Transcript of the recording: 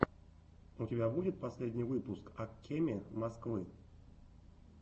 у тебя будет последний выпуск ак кеме москвы